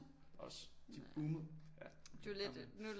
Også de boomer ja gamle